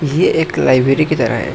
ये एक लाइब्रेरी की तरह है।